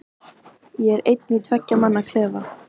Ég er einn í tveggja manna klefa.